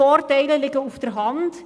Die Vorteile liegen auf der Hand: